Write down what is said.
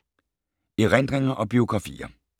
Erindringer og biografier